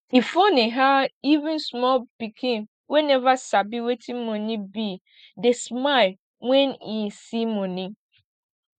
e funny how even small pikin wey never sabi wetin money be dey smile when im see money